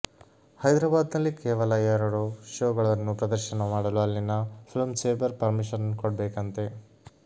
ಹೈದರಾಬಾದ್ ನಲ್ಲಿ ಕೇವಲ ಎರಡು ಶೋಗಳನ್ನು ಪ್ರದರ್ಶನ ಮಾಡಲು ಅಲ್ಲಿನ ಫಿಲ್ಮ್ ಚೇಂಬರ್ ಪರ್ಮಿಶನ್ ಕೊಡ್ಬೇಕಂತೆ